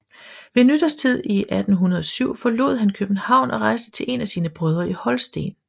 Ved nytårstid 1807 forlod han København og rejste til en af sine brødre i Holsten